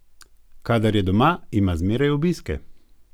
Kadar je doma, ima zmeraj obiske.